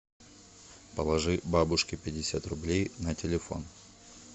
положи бабушке пятьдесят рублей на телефон